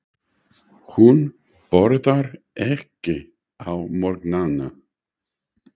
Hún borðar ekki á morgnana.